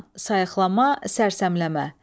Həzyan, sayıqlama, sərsəmləmə.